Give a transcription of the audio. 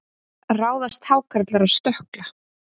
ráðast hákarlar á stökkla